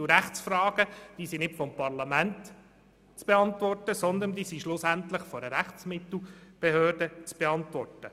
Und Rechtsfragen sind nicht vom Parlament, sondern letztlich von einer Rechtsmittelbehörde zu beantworten.